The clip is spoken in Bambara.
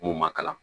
N'u ma kalan